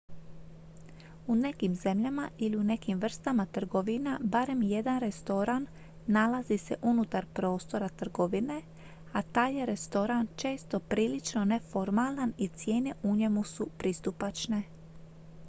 u nekim zemljama ili u nekim vrstama trgovina barem jedan restoran nalazi se unutar prostora trgovine a taj je restoran često prilično neformalan i cijene u njemu su pristupačne